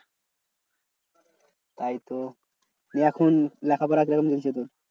তাই তো নিয়ে এখন লেখাপড়া কিরাম হচ্ছে তোর?